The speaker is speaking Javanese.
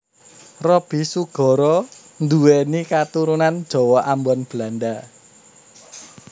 Roby Sugara nduwéni katurunan Jawa Ambon Belanda